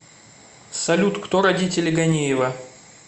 салют кто родители ганеева